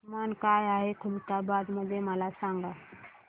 तापमान काय आहे खुलताबाद मध्ये मला सांगा